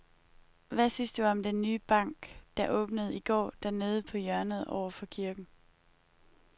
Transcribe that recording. Hvad synes du om den nye bank, der åbnede i går dernede på hjørnet over for kirken?